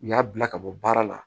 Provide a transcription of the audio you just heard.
U y'a bila ka bɔ baara la